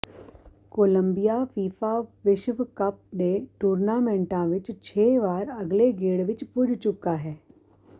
Columbia FIFA ਵਿਸ਼ਵ cup ਦੇ ਟੂਰਨਾਮੈਂਟਾਂ ਵਿਚ ਛੇ ਵਾਰ ਅਗਲੇ ਗੇੜ ਵਿਚ ਪੁੱਜ ਚੁੱਕਾ ਹੈ